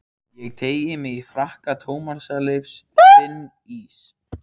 Ég teygi mig í frakka Tómasar Leifs, finn ís